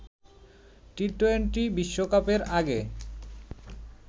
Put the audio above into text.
T twenty বিশ্বকাপের আগে